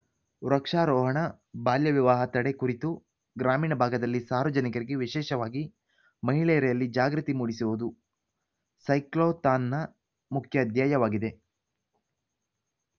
ವೃಕ್ಷಾರೋಹಣ ಬಾಲ್ಯ ವಿವಾಹ ತಡೆ ಕುರಿತು ಗ್ರಾಮೀಣ ಭಾಗದಲ್ಲಿ ಸಾರ್ವಜನಿಕರಿಗೆ ವಿಶೇಷವಾಗಿ ಮಹಿಳೆಯರಲ್ಲಿ ಜಾಗೃತಿ ಮೂಡಿಸುವುದು ಸೈಕ್ಲೋಥಾನ್‌ನ ಮುಖ್ಯ ಧ್ಯೇಯವಾಗಿದೆ